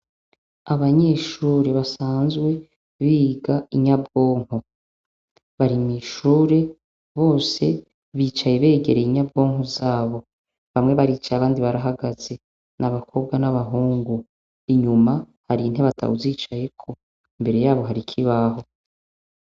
Abanyeshure basanzwe biga inyabwonko barimw'ishure bose bicaye begereye inyabwonko zabo bamwe baricaye abandi barahagaze n' abakobwa n'abahungu inyuma hari ntebatawuzicayeko imbere yabo hari ikibaho.